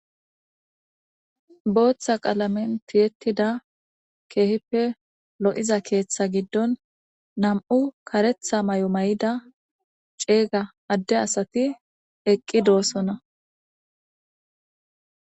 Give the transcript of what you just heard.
Booththa qalamen piyettida keehippe lo'iza keeththa giddon nam'u karetha may'o may'ida ceeyga adde asati eqqi doossona.